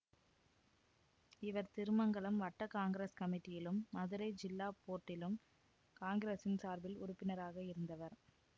இவர் திருமங்கலம் வட்ட காங்கிரஸ் கமிட்டியிலும் மதுரை ஜில்லா போர்டிலும் காங்கிரஸின் சார்பில் உறுப்பினராக இருந்தவர்